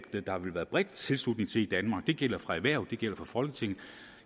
der ville være bred tilslutning til i danmark det gælder for erhvervet det gælder for folketinget